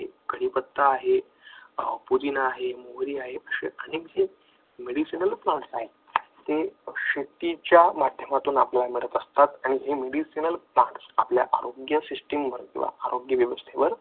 कढीपत्ता आहे, पुदिना आहे, मोहरी आहे, असे अनेक आहेतते शेतीच्या माध्यमातून आपल्याला मिळत असतात आणि regional plants आपल्या आरोग्य system आपल्या आरोग्य व्यवस्थेवर